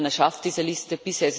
Ich hoffe, man schafft diese Liste